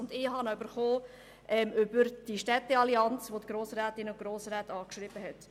Ich habe ihn via die Städteallianz erhalten, welche die Grossrätinnen und Grossräte angeschrieben hat.